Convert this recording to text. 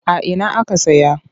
A ina aka saya?